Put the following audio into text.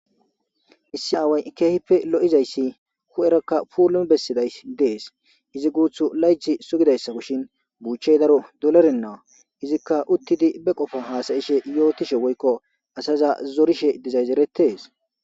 issi aaway keehippe lo7izayssi hu7erakka puulum bessiday dees izi guuthu layth sugidayssa kushin buuchchey daro dolorennaa izikka uttidi be qofo haasayishe yootishe woykko asaza zorishe dizayzeretees